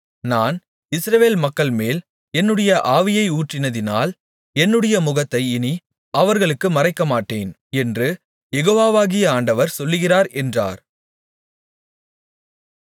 நான் இஸ்ரவேல் மக்கள்மேல் என்னுடைய ஆவியை ஊற்றினதினால் என்னுடைய முகத்தை இனி அவர்களுக்கு மறைக்கமாட்டேன் என்று யெகோவாகிய ஆண்டவர் சொல்லுகிறார் என்றார்